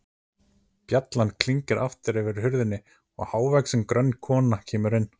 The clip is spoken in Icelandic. Bjallan klingir aftur yfir hurðinni og hávaxin, grönn kona kemur inn.